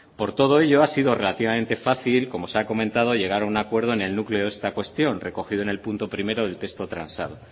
por todo ello ha sido relativamente fácil como se ha comentado llegar a un acuerdo en el núcleo de esta cuestión recogido en el punto primero del texto transado